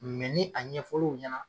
ni a ɲɛfɔr'u ɲɛna